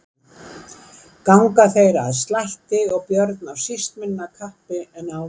Ganga þeir að slætti og Björn af síst minna kappi en áður.